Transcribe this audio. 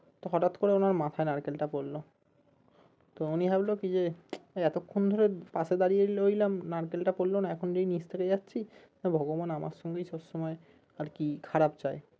তো হঠাৎ করে উনার মাথায় নারকেলটা পড়লো তো উনি ভাবলো কি যে এতক্ষন ধরে পাশে দাঁড়িয়ে রইলাম নারকেলটা পড়লো না এখন যেই নিচ থেকে যাচ্ছি তো ভগবান আমার সঙ্গেই সবসময় আরকি খারাপ চাই